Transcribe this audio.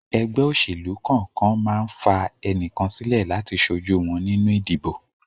Ẹgbẹ́ òṣèlú kọ̀ọ̀kan ma ń fà ẹnìkan sílẹ̀ láti ṣojú wọn nínú ìdìbò